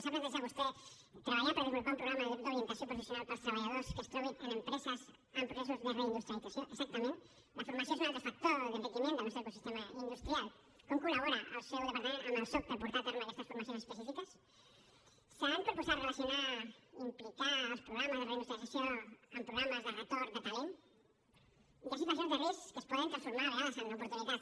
s’ha plantejat vostè treballar per desenvolupar un programa d’orientació professional per als treballadors que es trobin en empreses en processos de reindustrialització exactament la formació és un altre factor d’enriquiment del nostre ecosistema industrial com col·labora el seu departament amb el soc per portar a terme aquestes formacions específiques s’han proposat relacionar implicar els programes de reindustrialització amb programes de retorn de talent hi ha situacions de risc que es poden transformar a vegades en oportunitats